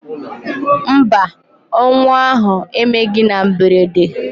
Mba, ọnwụ ahụ emeghị na mberede.